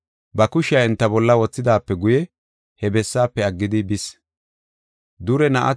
Ba kushiya enta bolla wothidaape guye he bessaafe aggidi bis.